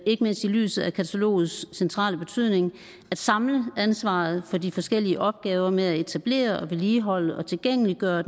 ikke mindst i lyset af katalogets centrale betydning at samle ansvaret for de forskellige opgaver med at etablere vedligeholde og tilgængeliggøre